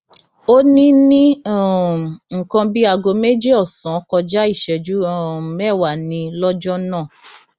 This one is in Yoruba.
ó ní ní um nǹkan bíi aago méjì ọsán kọjá ìṣẹjú um mẹwàá ni lọjọ náà